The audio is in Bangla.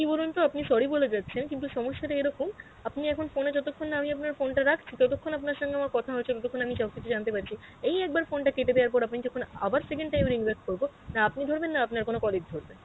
কি বলুনতো আপনি sorry বলে যাচ্ছেন কিন্তু সমস্যাটা এরকম, আপনি এখন phone এ যতক্ষণ না আমি আপনার ফোন টা রাখছি ততক্ষণ আপনার সথে আমার কথা হচ্ছে ততক্ষণ আমি সব কিছু জানতে পারছি, এই একবার phone টা কেটে দেওয়ার পর আপনি যখন আবার second time ring back করবো না আপনি ধরবেন না আপনার কোনো colleague ধরবে.